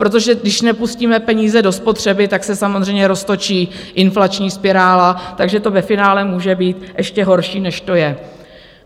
Protože když nepustíme peníze do spotřeby, tak se samozřejmě roztočí inflační spirála, takže to ve finále může být ještě horší, než to je.